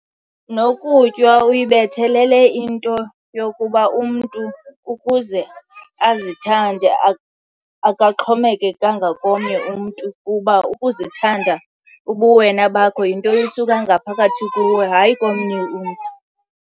Nokutywa uyibethelele into yokuba umntu ukuze azithande akaxhomekekanga komnye umntu, kuba ukuzithanda ubuwena bakho yinto esuka ngaphakathi kuwe hayi komnye umntu.